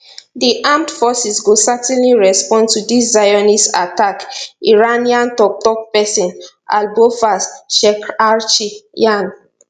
di armed forces go certainly respond to dis zionist attack iranian toktok pesin abolfazl shekarchi yarn